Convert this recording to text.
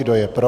Kdo je pro?